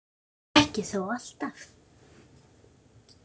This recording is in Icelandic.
Ekki þó alltaf.